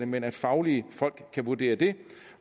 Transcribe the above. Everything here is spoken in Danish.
men fagfolk skal vurdere det